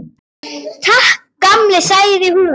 Takk, gamli, sagði hún.